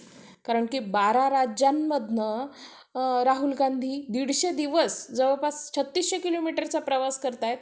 आणि वर्षभर चांगला अभ्यास झ्हाल्यामळे भीती वाटली नाही आणि आमच्या college मध्ये बोर्डाच्या परीक्षा होत असल्यामुळे माज्या परीक्षेचा number